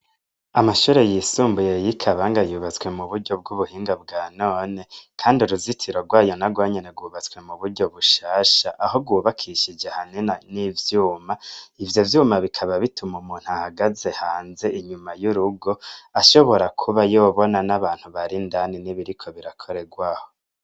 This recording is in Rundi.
Amashure yisumbuye y'i Kabanga yubatswe muburyo bw'ubuhinga bwa none, kandi uruzitiro rwayo narwo nyene rwubatswe muburyo bushasha, aho rwubakishije antena n'ivyuma, ivyo vyuma bikaba bituma umuntu ahagaze hanze inyuma y'urugo, ashobora kuba yobona n'abantu bari indani n'ibiri ko birakorerwaho.